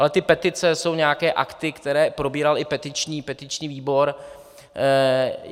Ale ty petice jsou nějaké akty, které probíral i petiční výbor.